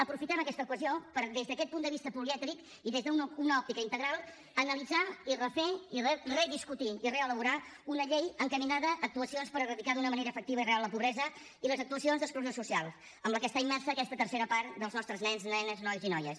aprofitem aquesta ocasió per des d’aquest punt de vista polièdric i des d’una òptica integral analitzar i refer i rediscutir i reelaborar una llei encaminada a actuacions per eradicar d’una manera efectiva i real la pobresa i les actuacions d’exclusió social en què immersa aquesta tercera part dels nostres nens nenes nois i noies